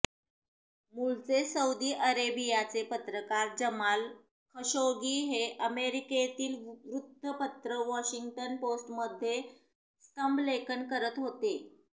मूळचे सौदी अरेबियाचे पत्रकार जमाल खशोगी हे अमेरिकेतील वृत्तपत्र वॉशिंग्टन पोस्टमध्ये स्तंभलेखन करत होते